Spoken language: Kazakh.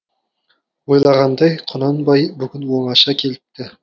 ойлағандай құнанбай бүгін оңаша келіпті